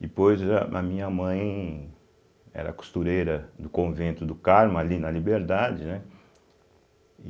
Depois a a minha mãe era costureira do Convento do Carmo, ali na Liberdade, né?